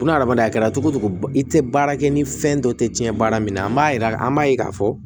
Ko n'a adamadenya kɛra cogo o cogo i tɛ baara kɛ ni fɛn dɔ tɛ tiɲɛ baara min na an b'a yira an b'a ye k'a fɔ